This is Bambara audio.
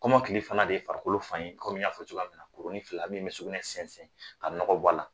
Kom'o kile fana de ye farikolo fan ye kɔmi n y'a fɔ cogoya min na kurunin fila, min bɛ sugunɛ sɛnsɛn ka nɔgɔ bɔ a la.